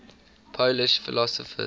polish philosophers